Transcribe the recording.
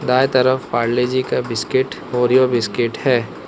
दाएं तरफ पारले जी का बिस्किट ओरियो बिस्किट है।